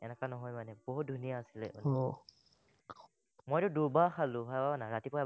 তেনেকুৱা নহয় মানে বহুত ধুনীয়া আছিলে, মইতো দুবাৰ খালো, ভাৱানা, ৰাতিপুৱা এবাৰ